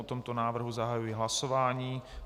O tomto návrhu zahajuji hlasování.